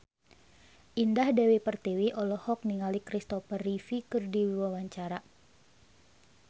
Indah Dewi Pertiwi olohok ningali Christopher Reeve keur diwawancara